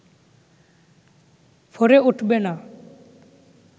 ফোরে উঠবে না